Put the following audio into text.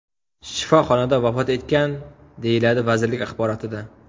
shifoxonada vafot etgan”, deyiladi vazirlik axborotida.